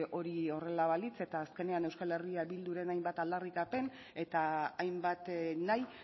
hori horrela balitz eta azkenean euskal herria bilduren hainbat aldarrikapen eta hainbat nahi